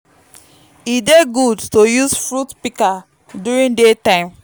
e dey gud to use fruit pika during day time